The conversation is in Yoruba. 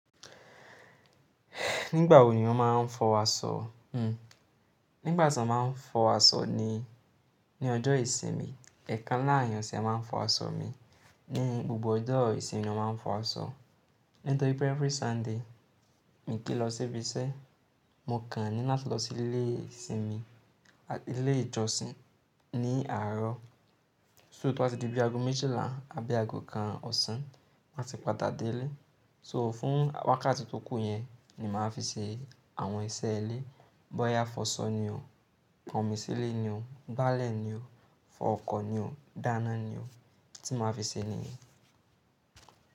Nígbà wo ni wọ́n máa ń fọwọ́ sọ? Hmm. Nígbàtí wọ́n máa ń fọwọ́ sọ ni, ní ọjọ́ ìsinmi, ẹ̀ẹ̀kan láàrọ̀ ìyànṣẹ máa ń fọwọ́ asọ mí. Ní gbogbo ọjọ́ ìsinmi wọ́n máa ń fọwọ́ sọ. Nítorí pé every Sunday mi kì í lọ síbi iṣẹ́, mo kàn ní láti lọ sí ilé ìsinmi àti ilé ìjọsìn ní àárọ̀. So tó bá ti di bí àgọ́ méjìlá àbí àgọ́ kan ọ̀sán, màá ti padà délé. So fún wákàtí tó kù yẹn ni màá fi ṣe àwọn iṣẹ́ ilé. Bọ́ya fọwọ́ sọ ni o, pọnmi sí ilé ni o, gbálẹ̀ ni o, fọ ọkọ ni o, dáná ni o tí màá fi ṣe nìyẹn.